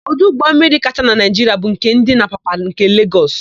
Ọdụ ụgbọmmiri kacha na Naịjiria bu nke dị n'Apapa nke Legọs.